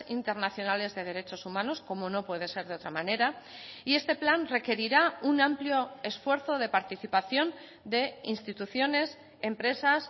internacionales de derechos humanos como no puede ser de otra manera y este plan requerirá un amplio esfuerzo de participación de instituciones empresas